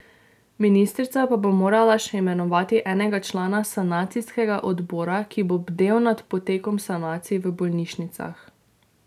Ministrica pa bo morala še imenovati enega člana sanacijskega odbora, ki bo bdel nad potekom sanacij v bolnišnicah.